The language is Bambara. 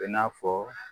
I n'a fɔ